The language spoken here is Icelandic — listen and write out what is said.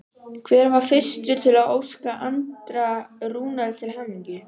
Hver var fyrstur til að óska Andra Rúnari til hamingju?